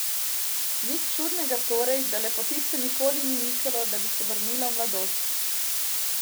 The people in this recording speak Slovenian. Nič čudnega torej, da lepotice nikoli ni mikalo, da bi se vrnila v mladost.